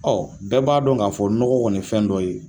bɛɛ b'a dɔn k'a fɔ nɔgɔ kɔni ye fɛn dɔ ye